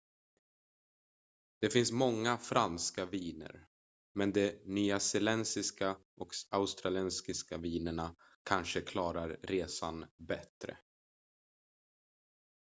det finns många franska viner men de nyzeeländska och australiska vinerna kanske klarar resan bättre